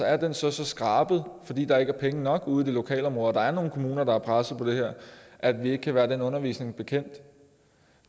er den så så skrabet fordi der ikke er penge nok ude i det lokalområde og der er nogle kommuner der er pressede på det her at vi ikke kan være den undervisning bekendt